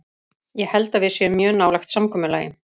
Ég held að við séum mjög nálægt samkomulagi.